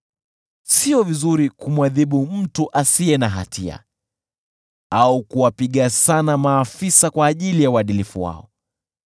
Si vizuri kumwadhibu mtu asiye na hatia, au kuwapiga sana maafisa kwa ajili ya uadilifu wao.